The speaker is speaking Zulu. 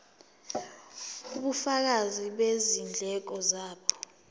ubufakazi bezindleko zabo